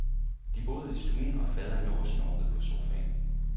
De boede i stuen og faderen lå og snorkede på sofaen.